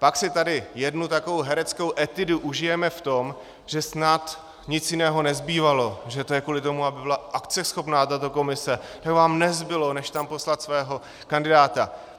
Pak si tady jednu takovou hereckou etudu užijeme v tom, že snad nic jiného nezbývalo, že to je kvůli tomu, aby byla akceschopná tato komise, že vám nezbylo, než tam poslat svého kandidáta.